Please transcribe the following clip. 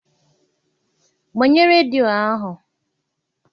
Gbanye redio ahụ!